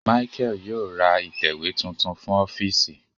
Micheal yóò rá itẹwe tuntun fún ọfiisi